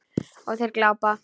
Og þeir glápa.